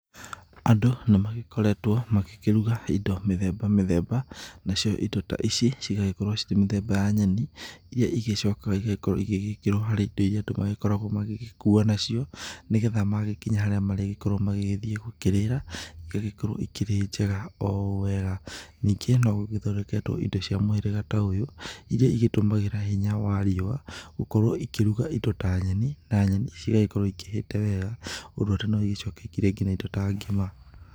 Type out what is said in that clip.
Andũ nĩ magĩkoretwo makĩruga indo mĩthemba mĩthemba na cio indo ta ici cigagĩkorwo ciĩ mĩthemba ya nyeni iria icokaga igagĩkĩrwo hari indo iria andũ magĩkoragwo magĩgĩkua nacio. Nĩ getha magĩkinya harĩa marĩgĩkorwo magĩgĩthiĩ gũkirĩra, igagĩkorwo ikĩrĩ njega o ũũ wega. Ningĩ no gũgĩthondeketwo indo cia mũhĩrĩga ta ũyũ iria igĩtũmagĩra hinya wa riũa gũkorwo ikĩruga indo ta nyeni, na nyeni cigagĩkorwo ikihĩte wega ũndũ atĩ no ĩgĩcoke ikĩrĩe indo ta ngima.